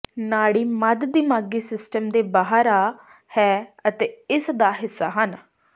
ਨਾੜੀ ਮੱਧ ਦਿਮਾਗੀ ਸਿਸਟਮ ਦੇ ਬਾਹਰ ਆ ਹੈ ਅਤੇ ਇਸ ਦਾ ਹਿੱਸਾ ਹਨ